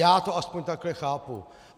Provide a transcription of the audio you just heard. Já to aspoň takhle chápu.